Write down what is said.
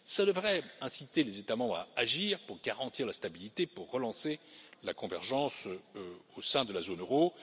Cela devrait inciter les États membres à agir pour garantir la stabilité, pour relancer la convergence au sein de la zone euro.